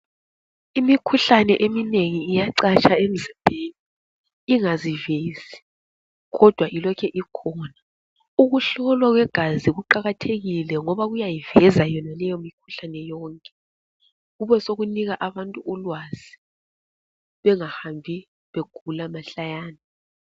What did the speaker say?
Imikhuhlane eminengi iyacatsha emzimbeni ingazivezi kodwa ilokhe ikhona. Ukuhlolwa kwegazi kuqakathekile ngoba kuyayiveza yonaleyo mikhulane yonke, kube sokunika abantu ulwazi bengahambi begula mahlayana.